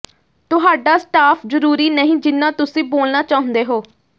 ਤੁਹਾਡਾ ਸਟਾਫ ਜਰੂਰੀ ਨਹੀਂ ਜਿੰਨਾ ਤੁਸੀਂ ਬੋਲਣਾ ਚਾਹੁੰਦੇ ਹੋ